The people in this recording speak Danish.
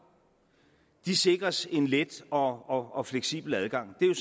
sikres en let og og fleksibel adgang det er jo